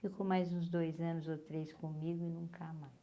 Ficou mais uns dois anos ou três comigo e nunca mais.